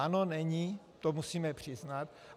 Ano, není, to musíme přiznat.